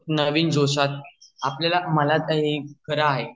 नवीन जोशाने मला आत अआपल्या ला